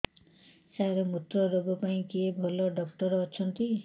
ସାର ମୁତ୍ରରୋଗ ପାଇଁ କିଏ ଭଲ ଡକ୍ଟର ଅଛନ୍ତି